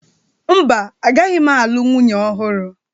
Mba, agaghị m nwunye ọhụrụ.